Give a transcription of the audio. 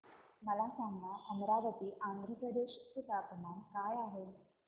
मला सांगा अमरावती आंध्र प्रदेश चे तापमान काय आहे